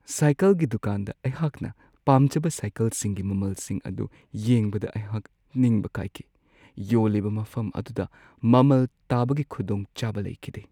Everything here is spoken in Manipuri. ꯁꯥꯏꯀꯜꯒꯤ ꯗꯨꯀꯥꯟꯗ ꯑꯩꯍꯥꯛꯅ ꯄꯥꯝꯖꯕ ꯁꯥꯏꯀꯜꯁꯤꯡꯒꯤ ꯃꯃꯜꯁꯤꯡ ꯑꯗꯨ ꯌꯦꯡꯕꯗ ꯑꯩꯍꯥꯛ ꯅꯤꯡꯕ ꯀꯥꯏꯈꯤ ꯫ ꯌꯣꯜꯂꯤꯕ ꯃꯐꯝ ꯑꯗꯨꯗ ꯃꯃꯜ ꯇꯥꯕꯒꯤ ꯈꯨꯗꯣꯡꯆꯥꯕ ꯂꯩꯈꯤꯗꯦ ꯫